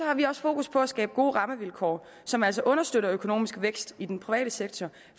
har vi også fokus på at skabe gode rammevilkår som altså understøtter økonomisk vækst i den private sektor